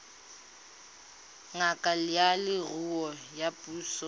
ngaka ya leruo ya puso